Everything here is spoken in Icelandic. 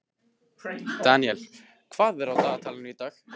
Daniel, hvað er á dagatalinu í dag?